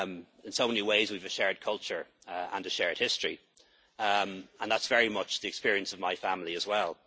admit that. In so many ways we have a shared culture and a shared history, and that's very much the experience of my family